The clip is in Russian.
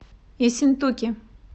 ессентуки